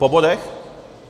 Po bodech?